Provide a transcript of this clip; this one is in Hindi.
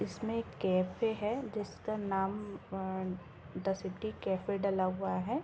इसमें एक कैफे है जिसका नाम अ द सिटी कैफे डला हुआ है।